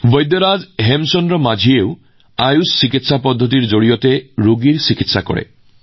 বৈদ্যৰাজ হেমচান্দ মাঞ্জীয়েও আয়ুষ ব্যৱস্থাৰ চিকিৎসাৰ সহায়ত মানুহৰ চিকিৎসা কৰে